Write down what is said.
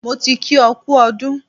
Mo ti kí ọ kú ọdún.